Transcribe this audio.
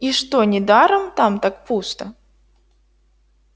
и что недаром там так пусто